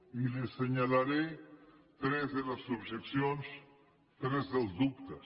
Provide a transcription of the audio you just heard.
i li assenyalaré tres de les objeccions tres dels dubtes